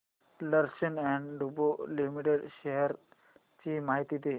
Larsen and टुर्बो Limited shares ची माहिती दे